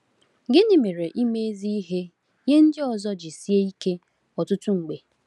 Gịnị mere ime ezi ihe nye ndị ọzọ ji sie ike ọtụtụ mgbe?